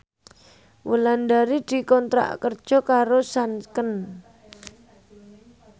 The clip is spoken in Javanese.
Wulandari dikontrak kerja karo Sanken